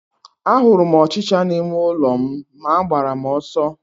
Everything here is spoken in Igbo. A hụrụ m ọchịchịa n'ime ụlọ m ma agbara m ọsọ